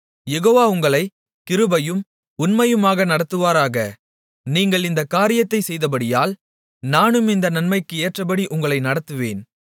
யெகோவா உங்களைக் கிருபையும் உண்மையுமாக நடத்துவாராக நீங்கள் இந்தக் காரியத்தைச் செய்தபடியால் நானும் இந்த நன்மைக்கு ஏற்றபடி உங்களை நடத்துவேன்